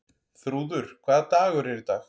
Þrúður, hvaða dagur er í dag?